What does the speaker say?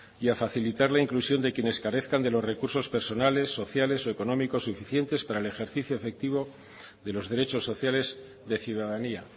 y a facilitar la inclusión de quienes carezcan de los recursos personales sociales y económicos suficientes para el ejercicio efectivo de los derechos sociales de ciudadanía